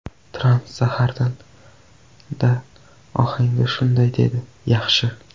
Tramp zaharxanda ohangda shunday dedi: ‘Yaxshi.